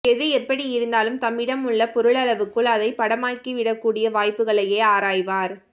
எது எப்படியிருந்தாலும் தம்மிடமுள்ள பொருளளவுக்குள் அதைப் படமாக்கிவிடக்கூடிய வாய்ப்புகளையே ஆராய்வார்